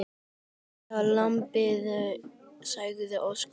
Ég hita lambið, sagði Óskar.